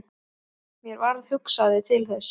Mér varð hugsað til Þessi!